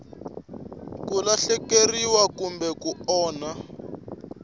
ku lahlekeriwa kumbe ku onhaka